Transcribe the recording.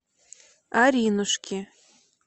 аринушки